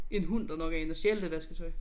En hund der nok er inde at stjæle det vasketøj